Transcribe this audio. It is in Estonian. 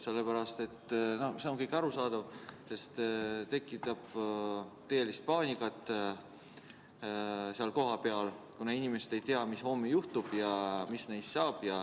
See on arusaadav, sest tekitab seal tõelist paanikat, kuna inimesed ei tea, mis homme juhtub ja mis neist saab.